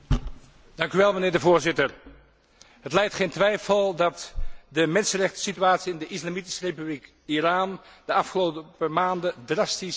Voorzitter, het lijdt geen twijfel dat de mensenrechtensituatie in de Islamitische Republiek Iran de afgelopen maanden drastisch is verslechterd.